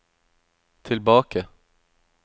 tilbake